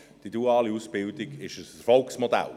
Die duale Ausbildung ist ein Erfolgsmodell.